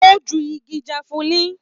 O jù ìgi jafulin.